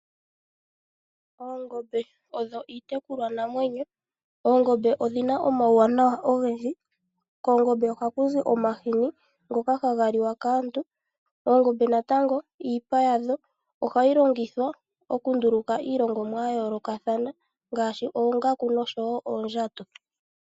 Oongombe odho iitekulwanamwenyo. Oongombe odhi na omauwanawa ogendji. Koongombe oha ku zi omahini ngoka haga liwa kaantu. Oongombe naamtango, iipa yadho oha yi longithwa oku nduluka iilongomwa ya yoolokathana, ngaashi oongaku nosho wo oondjato.